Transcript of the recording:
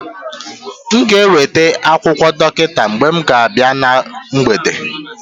m ga-eweta akụkọ dọkịta mgbe m na-abịa na mgbede